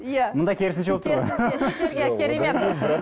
иә мұнда керісінше болып тұр ғой керемет